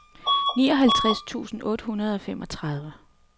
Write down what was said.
nioghalvtreds tusind otte hundrede og femogtredive